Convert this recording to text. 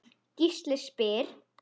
Gísli spyr